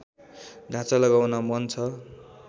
ढाँचा लगाउन मन छ